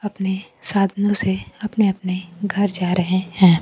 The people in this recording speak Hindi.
अपने साधनों से अपने-अपने घर जा रहे हैं।